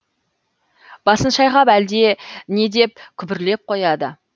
басын шайқап әлде не деп күбірлеп қояды